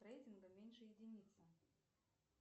рейтинга меньше единицы